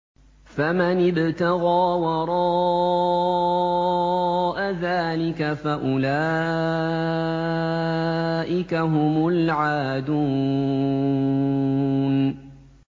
فَمَنِ ابْتَغَىٰ وَرَاءَ ذَٰلِكَ فَأُولَٰئِكَ هُمُ الْعَادُونَ